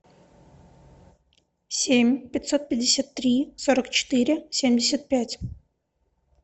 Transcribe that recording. семь пятьсот пятьдесят три сорок четыре семьдесят пять